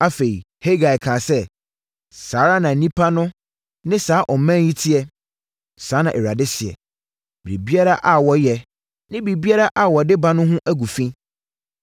Afei, Hagai kaa sɛ, “ ‘Saa ara na nnipa no ne saa ɔman yi teɛ.’ Saa na Awurade seɛ. ‘Biribiara a wɔyɛ ne biribiara a wɔde ba no ho agu fi.